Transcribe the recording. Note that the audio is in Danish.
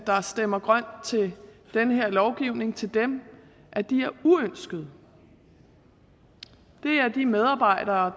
der stemmer grønt til den her lovgivning til dem at de er uønskede det er de medarbejdere